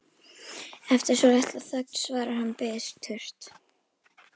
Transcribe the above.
Eftir svolitla þögn svarar hann biturt